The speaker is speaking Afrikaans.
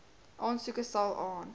aansoeke sal aan